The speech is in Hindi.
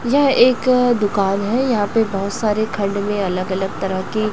यह एक दुकान हैं यहाॅं पे बहोत सारे खंड में अलग अलग तरह की--